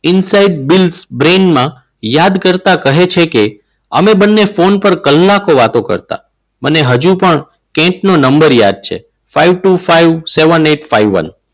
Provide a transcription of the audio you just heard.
યાદ કરતા કહે છે કે અમે બંને ફોન પર કલાકો વાત કરતા મને હજુ પણ કેન્ટ નો નંબર યાદ છે. five two five seven eight five one